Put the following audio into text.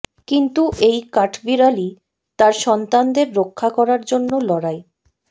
কিন্তু এই কাঠবিড়ালি তার সন্তানদের রক্ষা করার জন্য লড়াই